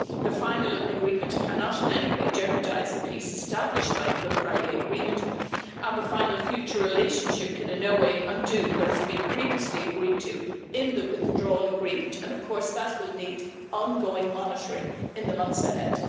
The final agreement cannot in any way jeopardise the peace established by the Good Friday Agreement, and the final future relationship can in no way undo what has been previously agreed to in the Withdrawal Agreement and that will need ongoing monitoring in the months ahead.